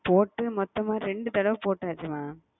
மொத்தமா ரெண்டு தடவ பொட்டச்சி mam